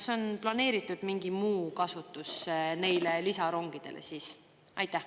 Kas on planeeritud mingi muu kasutus neile lisarongidele?